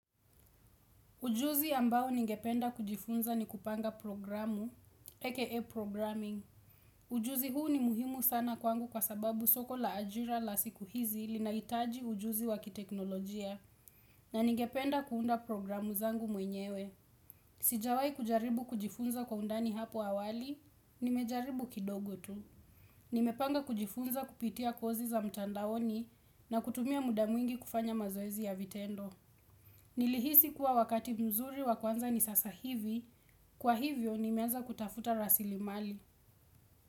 Ujuzi ambao ningependa kujifunza ni kupanga programu, EKA programming. Ujuzi huu ni muhimu sana kwangu kwa sababu soko la ajira la siku hizi linahitaji ujuzi wakiteknolojia na ningependa kuunda programu zangu mwenyewe. Sijawahi kujaribu kujifunza kwa undani hapo awali, nimejaribu kidogo tu. Nimepanga kujifunza kupitia kozi za mtandaoni na kutumia muda mwingi kufanya mazoezi ya vitendo. Nilihisi kuwa wakati mzuri wakuanza ni sasa hivi. Kwa hivyo nimeanza kutafuta rasilimali.